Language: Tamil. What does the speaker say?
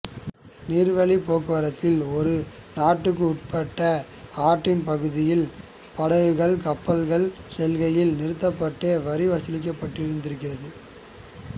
நீர்வழிப் போக்குவரத்தில் ஒரு நாட்டுக்கு உட்பட்ட ஆற்றின் பகுதியில் படகுகள் கப்பல்கள் செல்கையில் நிறுத்தப்பட்டு வரி வசூலிக்கப்பட்டிருக்கிறது